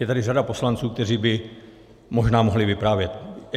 Je tady řada poslanců, kteří by možná mohli vyprávět.